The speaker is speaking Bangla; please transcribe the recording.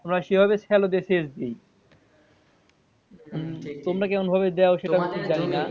আমরা সেভাবে শ্যালো দিয়ে ছেচ দিই তোমরা কেমনভাবে দাও সেটা আমি জানিনা।